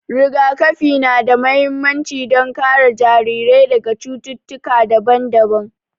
Rigakafi na da mahimmanci don kare jarirai daga cututtuka daban-daban.